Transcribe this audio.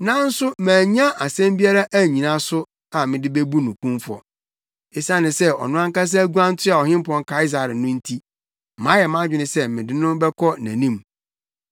nanso mannya asɛm biara annyina so a mede bebu no kumfɔ. Esiane sɛ ɔno ankasa guan toaa Ɔhempɔn Kaesare no nti, mayɛ mʼadwene sɛ mede no bɛkɔ nʼanim.